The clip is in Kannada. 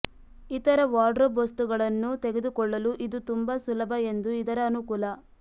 ಇತರ ವಾರ್ಡ್ರೋಬ್ ವಸ್ತುಗಳನ್ನು ತೆಗೆದುಕೊಳ್ಳಲು ಇದು ತುಂಬಾ ಸುಲಭ ಎಂದು ಇದರ ಅನುಕೂಲ